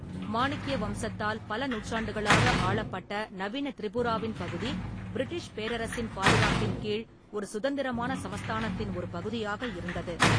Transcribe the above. மாணிக்கிய வம்சத்தால் பல நூற்றாண்டுகளாக ஆளப்பட்ட நவீன திரிபுராவின் பகுதி, பிரிட்டிஷ் பேரரசின் பாதுகாப்பின் கீழ் ஒரு சுதந்திரமான சமஸ்தானத்தின் ஒரு பகுதியாக இருந்தது.